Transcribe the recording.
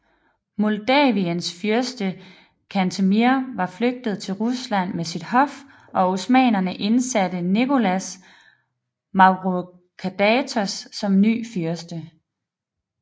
Moldaviens fyrste Cantemir var flygtet til Rusland med sit hof og osmannerne indsatte Nicholas Mavrocordatos som ny fyrste